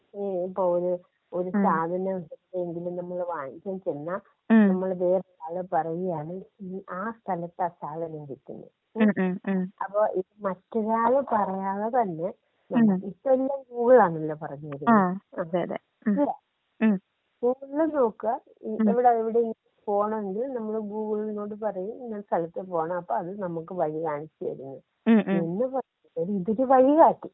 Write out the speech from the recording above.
*Not ക്ലിയർ* ഒരു സാധനം എന്തെങ്കിലും നമ്മള് വാങ്ങി വാങ്ങിക്കാൻ ചെന്നാൽ നമ്മള് ആള് പറയാണ് ആ സ്ഥലത്തു ആ സാധനം കിട്ടുമെന്ന് അപ്പൊ മറ്റൊരാള് പറയാതെ തന്നെ ഇപ്പൊ ഈ എല്ലാം ഗൂഗിളാണല്ലോ പറഞ്ഞുതരുന്നത് ഗൂഗിളില്‍ നോക്കാ ഇവിടെ എവിടെയെങ്കിലും പോവണമെങ്കിൽ നമ്മൾ ഗൂഗിൾ നോട് പറയ് ഇന്ന സ്ഥലത്ത് പോണം അപ്പൊ അത് നമ്മുക്ക് വഴി കാണിച്ച് തരും എന്ന് പറഞ്ഞ പോലെ ഇത് ഒരു വഴികാട്ടി.